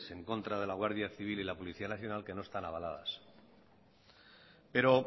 en contra de la guardia civil y la policía nacional que no están avaladas pero